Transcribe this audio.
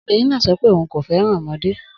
Obìnrin náà sọ pé òun kò fẹ́ràn ọmọdé